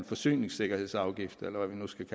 forsyningsafgift eller hvad man skal